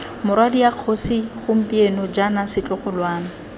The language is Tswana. morwadia kgosi gompieno jaana setlogolwana